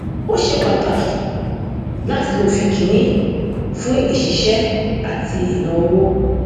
ó ṣe pàtàkì láti lo òfin kìnnì fún ìṣiṣẹ àti ìnáowó